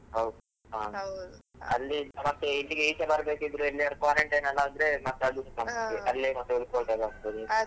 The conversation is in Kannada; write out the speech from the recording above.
ಹೌದ್ ಅಲ್ಲಿ ಸಮಸ್ಯೆ ಇಲ್ಲಿ ಈಚೆಗೆ ಬರ್ಬೇಕಿದ್ರೆ ಎಲ್ಲಿಯಾದ್ರೂ quarantine ಎಲ್ಲ ಆದ್ರೆ ಮತ್ತೆ ಅದು ಸಮಸ್ಯೆ .